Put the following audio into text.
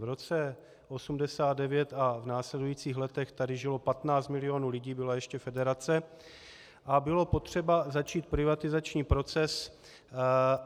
V roce 1989 a v následujících letech tady žilo 15 milionů lidí, byla ještě federace a bylo potřeba začít privatizační proces.